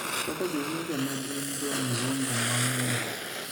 kaka jowinjo ne gin jo mzungu mang�eny.